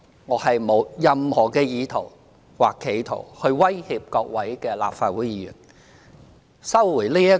我沒有任何意圖或企圖威脅各位立法會議員。